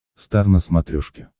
стар на смотрешке